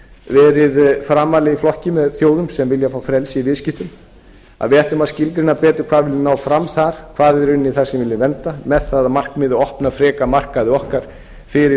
verið framarlega í flokki með þjóðum sem vilja fá frelsi í viðskiptum og hvað við viljum ná fram þar hvað við viljum vernda með það að markmiði að opna frekar markaði okkar fyrir